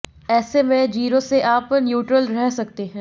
ऐसे में जीरो से आप न्यूट्रल रह सकते हैं